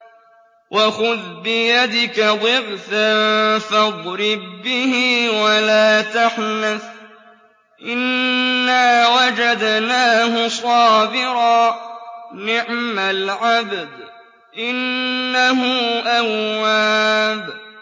وَخُذْ بِيَدِكَ ضِغْثًا فَاضْرِب بِّهِ وَلَا تَحْنَثْ ۗ إِنَّا وَجَدْنَاهُ صَابِرًا ۚ نِّعْمَ الْعَبْدُ ۖ إِنَّهُ أَوَّابٌ